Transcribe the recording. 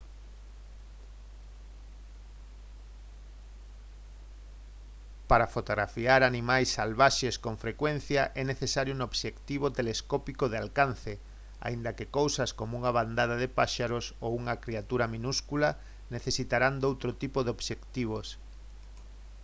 para fotografar animais salvaxes con frecuencia é necesario un obxectivo telescópico de alcance aínda que cousas como unha bandada de paxaros ou unha criatura minúscula necesitarán doutro tipo de obxectivos